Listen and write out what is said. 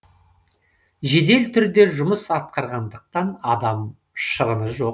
жедел түрде жұмыс атқарғандықтан адам шығыны жоқ